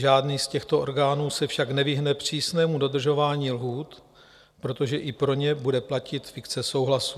Žádný z těchto orgánů se však nevyhne přísnému dodržování lhůt, protože i pro ně bude platit fikce souhlasu.